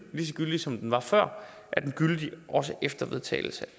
lige så gyldig som den var før er den gyldig også efter vedtagelsen